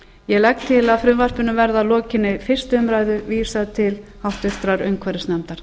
ég legg til að frumvarpinu verði að lokinni fyrstu umræðu vísað til háttvirtrar umhverfisnefndar